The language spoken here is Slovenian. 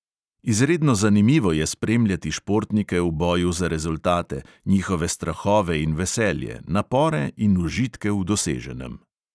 Izredno zanimivo je spremljati športnike v boju za rezultate, njihove strahove in veselje, napore in užitke v doseženem.